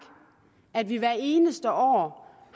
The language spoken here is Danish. at vi hver eneste år